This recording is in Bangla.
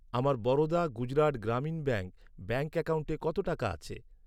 আমার বরোদা গুজরাট গ্রামীণ ব্যাঙ্ক, ব্যাঙ্ক অ্যাকাউন্টে কত টাকা আছে?